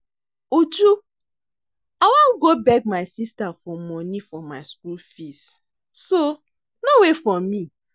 Uju I wan go beg my sister money for my school fees so no wait for me